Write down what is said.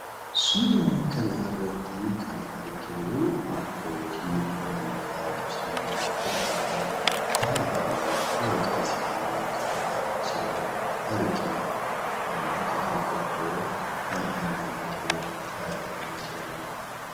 Suura kana irratti kan arginu abbootii amantaa Musliimaa hordofan ta'anii waaqa isaanii kadhataa jiran argina. Namoota gurgoddoo baay'ee miidhagoo faayamanii jirani.